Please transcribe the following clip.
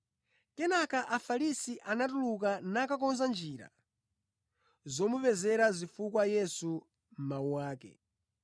Kenaka Afarisi anatuluka nakakonza njira zomupezera zifukwa Yesu mʼmawu ake.